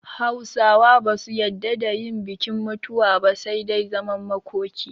Hausawa ba su yadda da yin bikin mutuwa ba, sai dai zaman makoki